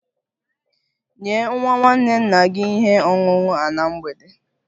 Nye nwa nwanne nna gị ihe ọṅụṅụ a na mgbede!